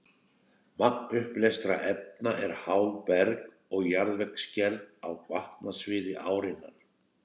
Magn uppleystra efna er háð berg- og jarðvegsgerð á vatnasviði árinnar.